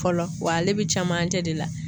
Fɔlɔ wa ale bi camancɛ de la.